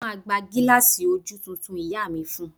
Mo máa gba gílààsì ojú tuntun ìyá mi fún un